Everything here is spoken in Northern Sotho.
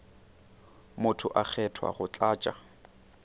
motho a kgethwa go tlatša